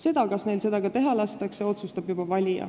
Seda, kas neil seda ka teha lastakse, otsustab juba valija.